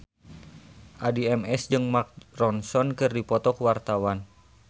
Addie MS jeung Mark Ronson keur dipoto ku wartawan